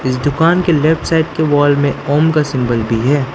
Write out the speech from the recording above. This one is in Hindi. दुकान की लेफ्ट साइड के वॉल में ओम का सिंबल भी है।